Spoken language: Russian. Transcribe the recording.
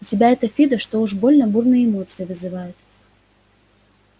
у тебя это фидо что-то уж больно бурные эмоции вызывает